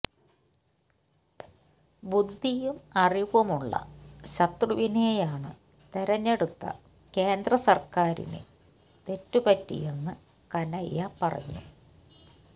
ബുദ്ധിയും അറിവുമുള്ള ശത്രുവിനെയാണ് തിരഞ്ഞെടുത്ത കേന്ദ്ര സര്ക്കാരിന് തെറ്റ് പറ്റിയെന്ന് കനയ്യ പറഞ്ഞു